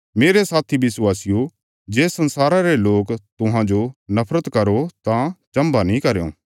मेरे साथी विश्वासियो जे इस संसारा रे लोक तुहांजो नफरत करो तां चम्भा नीं करयों